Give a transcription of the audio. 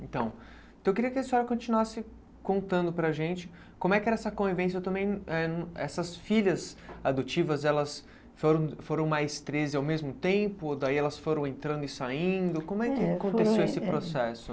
Então, eu queria que a senhora continuasse contando para a gente como é que era essa convivência também, eh essas filhas adotivas, elas foram foram treze ao mesmo tempo, daí elas foram entrando e saindo, como é que aconteceu esse processo?